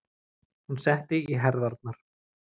Hún setti í herðarnar.